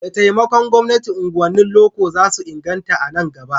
Da taimakon gwamnati, unguwannin loko za su inganta a nan gaba.